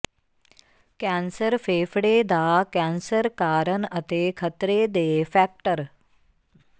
cancer ਫੇਫੜੇ ਦਾ cancer ਕਾਰਨ ਅਤੇ ਖਤਰੇ ਦੇ ਫੈਕਟਰ